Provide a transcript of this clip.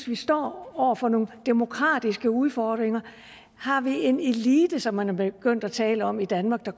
vi står over for nogle demokratiske udfordringer har vi en elite som man er begyndt at tale om i danmark der